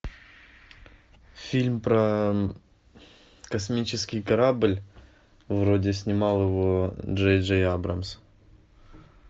фильм про космический корабль вроде снимал его джей джей абрамс